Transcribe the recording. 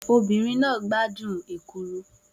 Obìnrin náà gbádùn ekuru